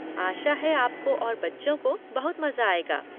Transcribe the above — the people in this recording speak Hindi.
आशा है आपको और बच्चों को बहुत मज़ा आएगा।